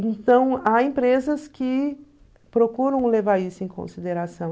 Então, há empresas que procuram levar isso em consideração.